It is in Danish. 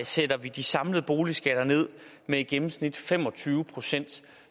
sætter vi de samlede boligskatter ned med i gennemsnit fem og tyve procent